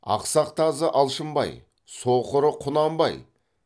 ақсақ тазы алшынбай соқыры құнанбай